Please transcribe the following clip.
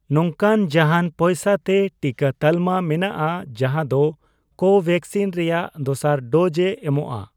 ᱱᱚᱝᱠᱟᱱ ᱡᱟᱦᱟᱱ ᱯᱚᱭᱥᱟ ᱛᱮ ᱴᱤᱠᱟᱹ ᱛᱟᱞᱢᱟ ᱢᱮᱱᱟᱜᱼᱟ ᱡᱟᱦᱟᱸ ᱫᱚ ᱠᱳᱵᱷᱮᱠᱥᱤᱱ ᱨᱮᱭᱟᱜ ᱫᱚᱥᱟᱨ ᱰᱳᱡᱽ ᱮ ᱮᱢᱚᱜᱼᱟ ?